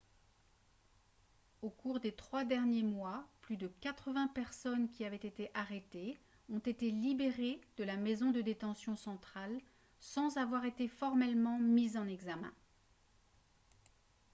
au cours des trois derniers mois plus de 80 personnes qui avaient été arrêtées ont été libérées de la maison de détention centrale sans avoir été formellement mises en examen